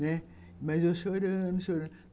Né, mas eu chorando, chorando.